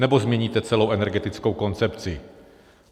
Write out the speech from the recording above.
Nebo změníte celou energetickou koncepci?